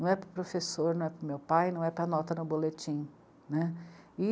Não é para o professor, não é para o meu pai, não é para a nota no boletim, né. E